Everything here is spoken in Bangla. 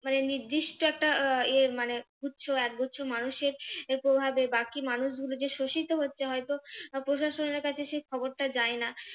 মানে নির্দিষ্ট একটা ইয়ে মানে গুচ্ছ একগুচ্ছ মানুষের প্রভাবে বাকি মানুষগুলো যে শোষিত হচ্ছে হয়তো প্রশাসনের কাছে সেই খবরটা যায় না।